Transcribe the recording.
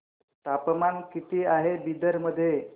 तापमान किती आहे बिदर मध्ये